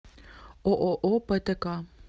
ооо птк